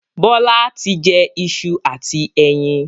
Bọlá tí jẹ ìṣù àti ẹyin